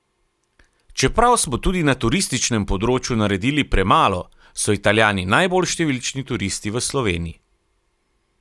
Čeprav smo tudi na turističnem področju naredili premalo, so Italijani najbolj številčni turisti v Sloveniji?